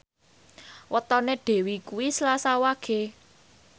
wetone Dewi kuwi Selasa Wage